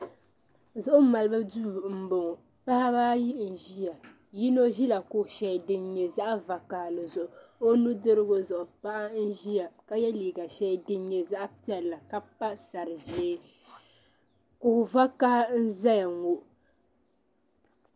Zuɣu malibu duu m bɔŋɔ paɣaba ayi n ʒeya yini ʒeya kuɣu shɛli din nyɛ zaɣi vokahali zuɣu o nu dirigu zuɣu paɣa n ʒeya ka yɛ liiga shɛli din nyɛ zaɣi piɛlli ka pa sari ʒee kuɣu vokaha n zaya ŋɔ.